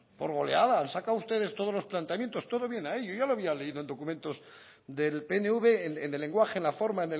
por goleada han sacado ustedes todos los planteamientos todo viene ahí yo ya lo había leído en documentos del pnv en el lenguaje la forma